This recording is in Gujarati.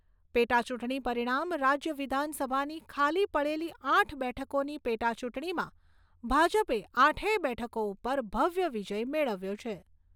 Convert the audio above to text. પેટાચૂંટણી પરિણામ રાજ્ય વિધાનસભાની ખાલી પડેલી આઠ બેઠકોની પેટાચૂંટણીમાં ભાજપે આઠેય બેઠકો ઉપર ભવ્ય વિજય મેળવ્યો છે.